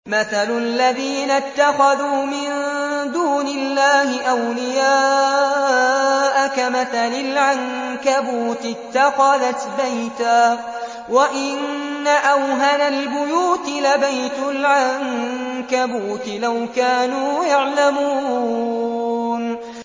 مَثَلُ الَّذِينَ اتَّخَذُوا مِن دُونِ اللَّهِ أَوْلِيَاءَ كَمَثَلِ الْعَنكَبُوتِ اتَّخَذَتْ بَيْتًا ۖ وَإِنَّ أَوْهَنَ الْبُيُوتِ لَبَيْتُ الْعَنكَبُوتِ ۖ لَوْ كَانُوا يَعْلَمُونَ